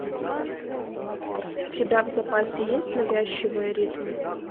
у тебя в запасе есть навязчивые ритмы